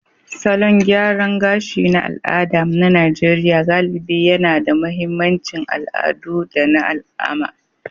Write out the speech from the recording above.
Salon gyaran gashi na al'ada na Najeriya galibi yAna da mahimmancin al'adu da na alama,